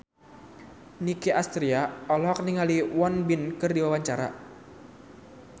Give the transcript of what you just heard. Nicky Astria olohok ningali Won Bin keur diwawancara